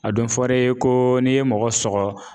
A don fɔr'e ye ko n'i ye mɔgɔ sɔgɔ